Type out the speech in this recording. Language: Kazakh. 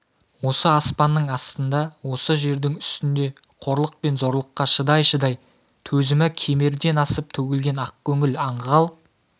осы аспанның астында осы жердің үстінде қорлық пен зорлыққа шыдай-шыдай төзімі кемерден асып төгілген ақкөңіл аңғал